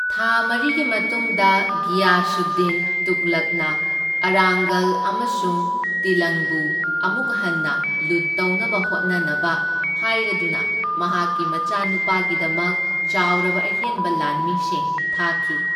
ꯊꯥ ꯃꯔꯤꯒꯤ ꯃꯇꯨꯡꯗ, ꯘꯤꯌꯥꯁꯨꯗꯗꯤꯟ ꯇꯨꯘꯂꯛꯅ ꯑꯔꯥꯡꯒꯜ ꯑꯃꯁꯨꯡ ꯇꯤꯂꯪꯕꯨ ꯑꯃꯨꯛ ꯍꯟꯅ ꯂꯨꯠ ꯇꯧꯅꯕ ꯍꯣꯠꯅꯅꯕ ꯍꯥꯏꯔꯗꯨꯅ ꯃꯍꯥꯛꯀꯤ ꯃꯆꯥꯅꯨꯄꯥꯒꯤꯗꯃꯛ ꯆꯥꯎꯔꯕ ꯑꯍꯦꯟꯕ ꯂꯥꯟꯃꯤꯁꯤꯡ ꯊꯥꯈꯤ꯫